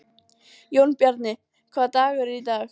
Jónbjarni, hvaða dagur er í dag?